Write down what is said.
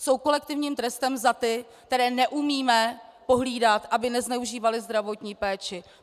Jsou kolektivním trestem za ty, které neumíme pohlídat, aby nezneužívali zdravotní péče.